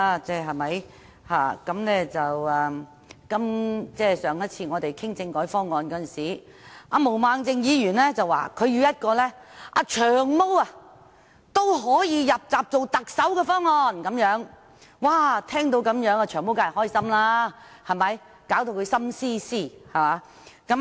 我們上次討論政改方案的時候，毛孟靜議員說她要一個"長毛"都可以"入閘"參選特首的方案，"長毛"聽到後當然很高興，令他"心思思"。